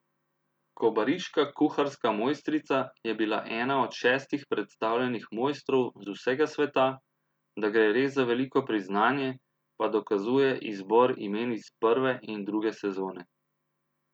Kobariška kuharska mojstrica je bila ena od šestih predstavljenih mojstrov z vsega sveta, da gre res za veliko priznanje, pa dokazuje izbor imen iz prve in druge sezone.